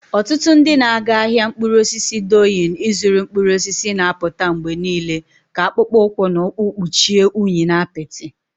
Ọtụtụ ndị na-aga ahịa mkpụrụ osisi Doyin ịzụrụ mkpụrụ osisi na-apụta mgbe niile ka akpụkpọ ụkwụ na ụkwụ kpuchie unyi na apịtị.